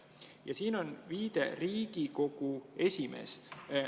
" Ja siin on viide: Riigikogu esimees.